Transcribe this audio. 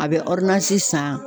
A bɛ san